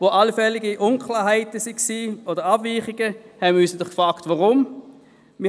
Wo allfällige Abweichungen vorhanden waren, fragten wir uns weshalb.